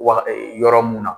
Wa yɔrɔ mun na